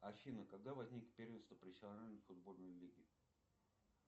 афина когда возник первенство профессиональной футбольной лиги